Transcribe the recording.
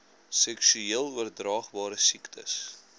seksueel oordraagbare siektes